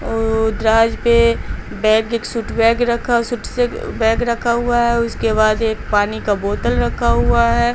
और दराज पे बैग एक सूट बैग रखा सूट से बैग रखा हुआ है उसके बाद एक पानी का बोतल रखा हुआ है।